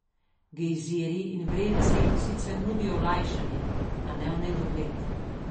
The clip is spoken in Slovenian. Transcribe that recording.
Gejzirji in vrelci sicer nudijo olajšanje, a ne v nedogled.